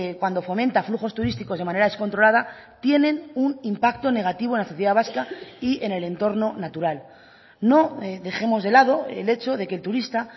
cuando fomenta flujos turísticos de manera descontrolada tienen un impacto negativo en la sociedad vasca y en el entorno natural no dejemos de lado el hecho de que el turista